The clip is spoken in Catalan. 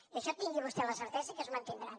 i això tingui vostè la certesa que es mantindrà